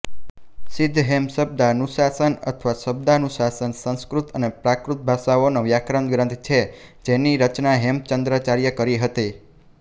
સિદ્ધહેમશબ્દાનુશાસન અથવા શબ્દાનુશાસન સંસ્કૃત અને પ્રાકૃત ભાષાઓનો વ્યાકરણગ્રંથ છે જેની રચના હેમચંદ્રાચાર્યે કરી હતી